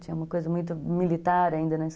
Tinha uma coisa muito militar ainda, né?